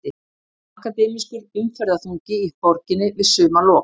Akademískur umferðarþungi í borginni við sumarlok